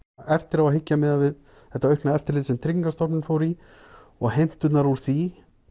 eftir á að hyggja miðað við þetta aukna eftirlit sem Tryggingastofnun fór í og heimturnar úr því